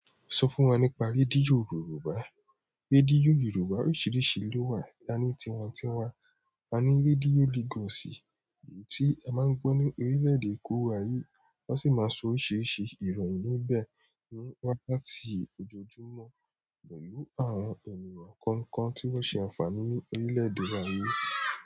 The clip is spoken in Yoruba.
Sọ fún wa nípa rédíò Yorùbá. Rédíò Yorùbá oríṣìíríṣìí ló wà láni tiwantiwa. A ní rédíò Lagos i, èyí tí a máa ń gbọ́ ní orílẹ̀-èdè eko wa yi wọ́n sì máa sọ oríṣiríṣi ìròyìn níbẹ̀ ní wákàtí ojoojúmọ́ pẹ̀lú àwọn ohùn ìràn kọ̀ọ̀kan tí wọ́n ṣe àǹfààní ní orílẹ̀-èdè wááyi.